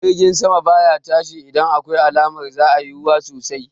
Jirgi sama baya tashi idan akwai alamar za'a yi ruwa sosai